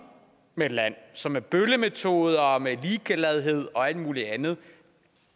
med et land som med bøllemetoder og med ligegladhed og alt muligt andet